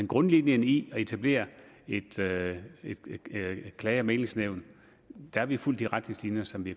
grundlinjen i at etablere et klage og mæglingsnævn har vi fulgt de retningslinjer som de